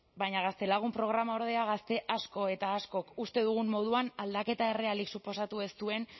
baina gaztelagun programa ordea gazte asko eta askok uste dugun moduan aldaketa errealik suposatu ez duen